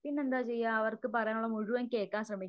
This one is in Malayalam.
പിന്നെന്താ ചെയ്യുക അവർക്ക് പറയാനുള്ളത് മുഴുവൻ കേൾക്കാൻ ശ്രമിക്യാ